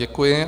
Děkuji.